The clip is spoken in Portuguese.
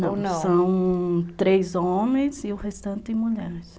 Não, não, são três homens e o restante mulheres.